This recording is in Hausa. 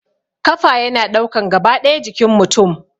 Kafa yana ɗaukan gaba ɗaya jikin mutum